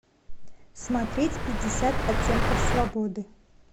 смотреть пятьдесят оттенков свободы